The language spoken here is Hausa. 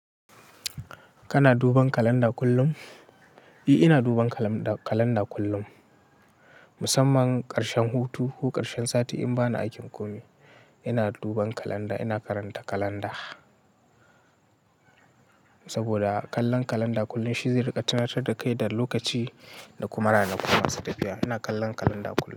Kana duban kalanda kullum? Eh, ina duban kalanda kullum. Musamman ƙarshen hutu ko ƙarshen sati in bani aikin komi, ina duban kalanda. Ina karanta kalanda. Saboda kallon kalanda kullum shi zai riƙa tunatar da kai da lokaci da kuma rana ku masu tafiya. Ina kallon kalanda kullum.